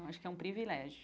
Eu acho que é um privilégio.